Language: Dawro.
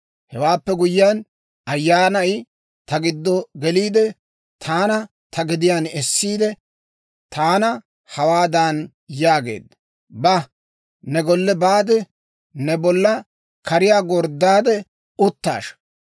Hewaappe guyyiyaan, Ayyaanay ta giddo geliide, taana ta gediyaan essiide, taana hawaadan yaageedda; «Ba; ne golle baade, ne bolla kariyaa gorddaade uttashsha.